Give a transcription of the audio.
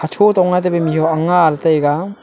cho tong nga tabi mih huak nga la taga.